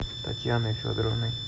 татьяной федоровной